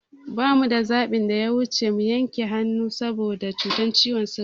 Ba mu da zaɓin da ya wuci mu yanke hannun sa boda cutar ciwon sigan